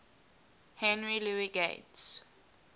henry louis gates